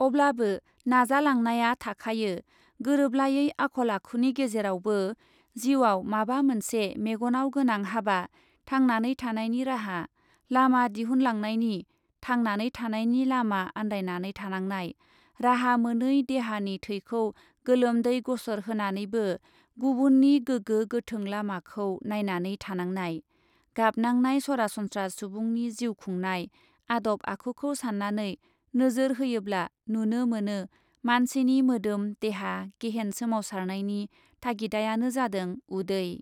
अब्लाबो नाजालांनाया थाखायो गोरोबलायै आखल आखुनि गेजेरावबो जिउआव माबा मोनसे मेगनाव गोनां हाबा , थांनानै थानायनि राहा लामा दिहुनलांनायनि, थांनानै थानायनि लामा आन्दायनानै थानांनाय , राहा मोनै देहानि थैखौ गोलोमदै गसर होनानैबो गुबुननि गोगो गोथों लामाखौ नायनानै थानांनाय , गाबनांनाय सरासनस्रा सुबुंनि जिउ खुंनाय आदब आखुखौ सान्नानै नोजोर होयोब्ला नुनो मोनो मानसिनि मोदोम देहा गेहेन सोमावनायनि थागिदायानो जादों उदै।